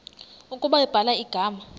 ukuba ubhala igama